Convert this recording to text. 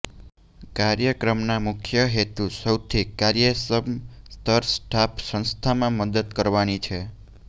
કાર્યક્રમના મુખ્ય હેતુ સૌથી કાર્યક્ષમ સ્તર સ્ટાફ સંસ્થામાં મદદ કરવાની છે